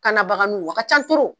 Kana baganiw, a kan ca